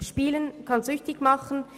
Spielen kann süchtig machen.